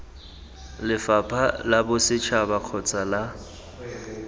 lefapha la bosetšhaba kgotsa la